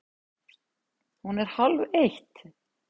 Hún er hálfeitt!